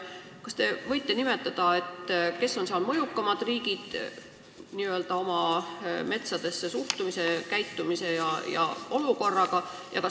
Kas te võite nimetada, kes on selles organisatsioonis oma metsadesse suhtumise ja metsanduse seisu poolest mõjukaimad riigid?